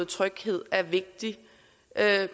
tryghed er vigtig